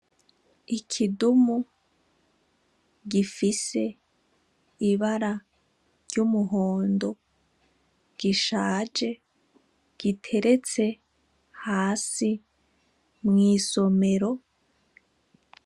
Ikidumu gifise ibara ry'umuhondo gishaje giteretse hasi mw'isomero.